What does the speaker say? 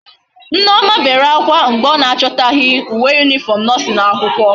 Nneoma bere akwa mgbe o na achotaghi uwe uniform nursing akwukwo